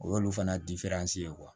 O y'olu fana ye